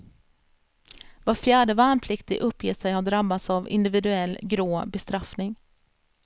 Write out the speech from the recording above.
Var fjärde värnpliktig uppger sig ha drabbats av individuell grå bestraffning.